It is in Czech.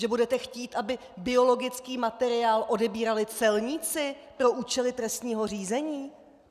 Že budete chtít, aby biologický materiál odebírali celníci pro účely trestního řízení?